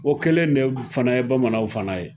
O kɛlen de ye fana ye bamananw fana ye